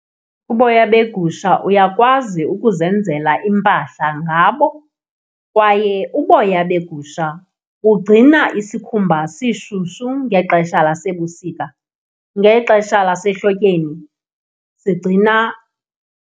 Uboya begusha uyakwazi ukuzenzela iimpahla ngabo kwaye uboya begusha bugcina isikhumba sishushu ngexesha lasebusika. Ngexesha lasehlotyeni sigcina.